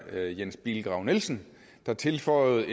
været jens bilgrav nielsen der tilføjede